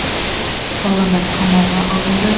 ұсталғандар қамауға алынды